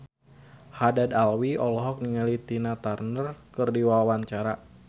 Haddad Alwi olohok ningali Tina Turner keur diwawancara